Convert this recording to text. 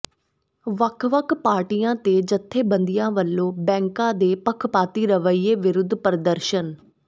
ਵੱਖ ਵੱਖ ਪਾਰਟੀਆਂ ਤੇ ਜਥੇਬੰਦੀਆਂ ਵੱਲੋਂ ਬੈਂਕਾਂ ਦੇ ਪੱਖਪਾਤੀ ਰਵੱਈਏ ਵਿਰੁੱਧ ਪ੍ਰਦਰਸ਼ਨ